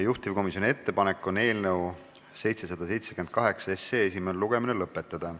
Juhtivkomisjoni ettepanek on eelnõu 778 esimene lugemine lõpetada.